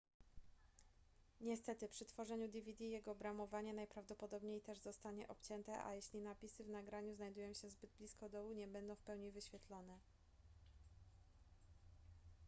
niestety przy tworzeniu dvd jego obramowanie najprawdopodobniej też zostanie obcięte a jeśli napisy w nagraniu znajdują się zbyt blisko dołu nie będą w pełni wyświetlone